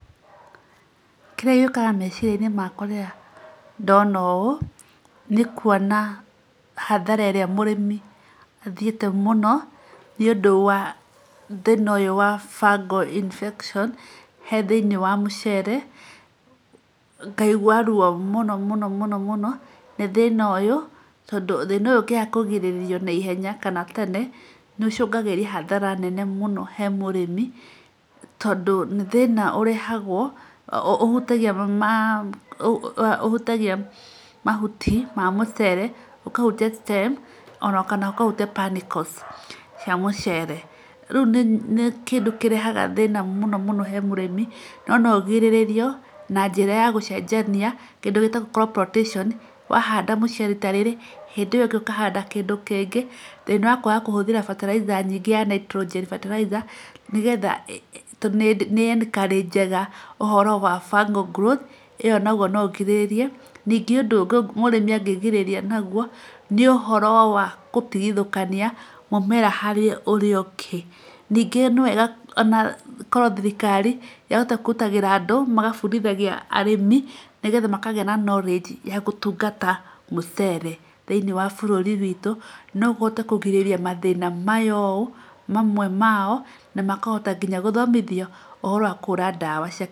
Kĩrĩa gĩũkaga meciria-inĩ makwa rĩrĩa ndona ũũ nĩ kuona hathara ĩrĩa mũrĩmi athiĩte mũno nĩ ũndũ wa thĩna ũyũ wa [cs fungal infection he thĩinĩ wa mũcere. Ngaigua ruo mũno mũno nĩ thĩna ũyũ tondũ thĩna ũyũ ũngĩaga kũgirĩrĩrio naihenya kana tene, nĩ ũcũgagĩria hathara nene mũno he mũrĩmi. Tondũ nĩ thĩna ũrehagwo ũhutagia mahuti ma mũcere, ũkahutia stem kana ũkahutia panicles cia mũcere. Rĩu nĩ kĩndũ kĩrehaga thĩna mũno he mũrĩmi no no ũgirĩrĩrio na njĩra ya gũcenjania kĩndũ gĩtagwo crop rotation, wa handa mũcere rita rĩrĩ hĩndĩ ĩyo ĩngĩ ũkahanda kĩndũ kĩngĩ. Thĩna wa kwaga kũhũthĩra bataraitha nyingĩ ya nitrogen bataraitha nĩgetha nĩ ĩĩ encourages ũhoro wa fungal growth, ĩyo nayo no ũgirĩrĩrie. Ningĩ ũndũ ũngĩ mũrĩmi angĩgirĩrĩria naguo nĩ ũhoro wa gũtigithũkania mũmera harĩ ũrĩa ũngĩ. Ningĩ nĩ wega ona korwo thirikari yahota kwĩrutagĩra andũ magabundithia arĩmi nĩgetha makagĩa na knowledge ya gũtungata mũcere thĩinĩ wa bũrũri witũ. No ũhote kũgirĩrĩria mathĩna maya ũũ mamwe mao, na makahota nginya gũthomithio ũhoro wa kũhũra ndawa cia...